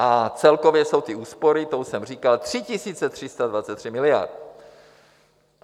A celkově jsou ty úspory, to už jsem říkal, 3 323 miliard.